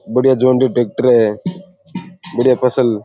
बढ़िया जोड़री ट्रेक्टर है बढ़िया फसल --